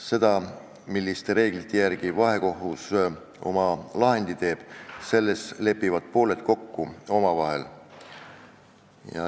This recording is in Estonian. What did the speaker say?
Selles, milliste reeglite järgi vahekohus oma lahendi teeb, lepivad pooled kokku omavahel.